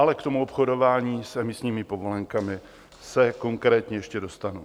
Ale k tomu obchodování s emisními povolenkami se konkrétně ještě dostanu.